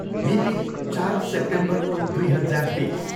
मिति, चार सेप्टेम्बर दुई हजार बिस।